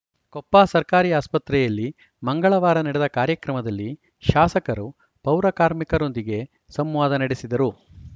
ಕೊಪ್ಪ ಸರ್ಕಾರಿ ಆಸ್ಪತ್ರೆಯಲ್ಲಿ ಮಂಗಳವಾರ ನಡೆದ ಕಾರ್ಯಕ್ರಮದಲ್ಲಿ ಶಾಸಕರು ಪೌರಕಾರ್ಮಿಕರೊಂದಿಗೆ ಸಂವಾದ ನಡೆಸಿದರು